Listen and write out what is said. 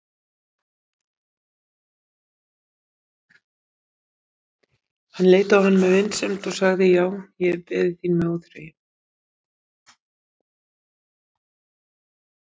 Hann leit á hann með vinsemd og sagði:-Já, ég hef beðið þín með óþreyju.